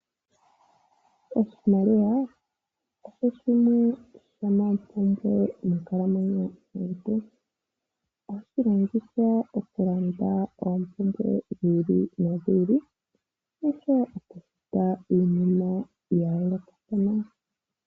Oshimaliwa osho shimwe shoompumbwe monkalamwenyo yomuntu. Ohashi longithwa okulanda oompumbwe dhi ili nodhi ili. Ohashi longithwa okufuta iinima ya yoolokathana.